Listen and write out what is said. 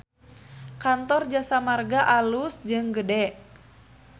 Kantor Jasa Marga alus jeung gede